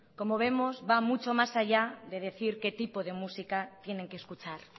como vemos va mucho más allá de decir qué tipo de música tienen que escuchar